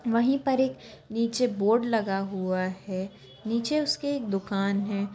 वहीं पर एक नीचे बोर्ड लगा हुआ है नीचे उसके एक दुकान है।